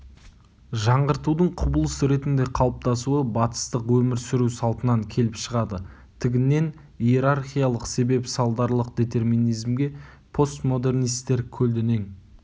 жаңғыртуДың құбылыс ретінде қалыптасуы батыстық өмір сүру салтынан келіп шығады тігінен иерархиялық себеп-салдарлық детерминизмге постмодернистер көлденең